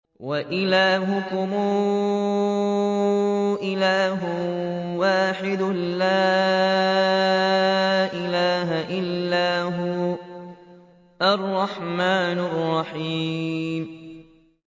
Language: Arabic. وَإِلَٰهُكُمْ إِلَٰهٌ وَاحِدٌ ۖ لَّا إِلَٰهَ إِلَّا هُوَ الرَّحْمَٰنُ الرَّحِيمُ